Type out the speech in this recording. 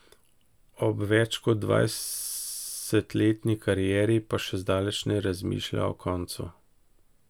Ob več kot dvajsetleni karieri pa še zdaleč ne razmišlja o koncu.